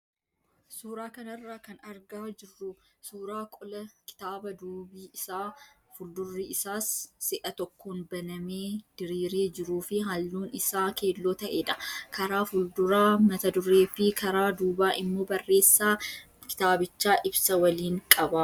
Suuraa kanarraa kan argaa jirru suuraa qola kitaabaa duubi isaa fi fuuldurri isaas si'a tokkoon banamee diriiree jiruu fi halluun isaa keelloo ta'edha. Karaa fuulduraa mat-duree fi karaa duubaa immoo barreessaa kitaabichaa ibsa waliin qaba.